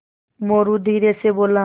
मोरू धीरे से बोला